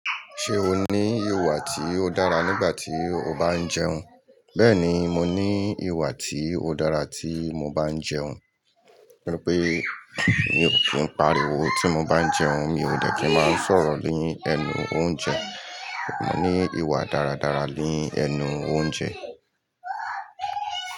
Ṣé o ní ìwà tí ó dára nígbà tí o bá ń jẹun? Bẹ́ẹ̀ni, mo ní ìwà tí ó dára tí mo bá ń jẹun. Torí pé mi ò kí ń pariwo tí mo bá ń jẹun, mi ò dè kí ń máa sọ̀rọ̀ ní ẹnu oúnjẹ. Mo ní ìwà dáradára ní ẹnu oúnjẹ.